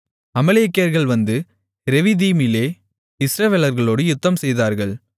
அமலேக்கியர்கள் வந்து ரெவிதீமிலே இஸ்ரவேலர்களோடு யுத்தம்செய்தார்கள்